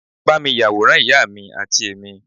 ba mi yaworan ìyá mi ati emi